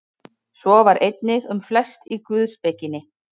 Svo var einnig um flest í guðspekinni.